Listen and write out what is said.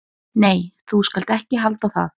"""Nei, þú skalt ekki halda það!"""